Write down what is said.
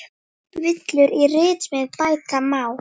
Villur í ritsmíð bæta má.